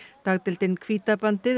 dagdeildin